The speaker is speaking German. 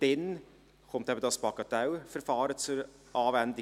Dann kommt eben dieses Bagatellverfahren zur Anwendung;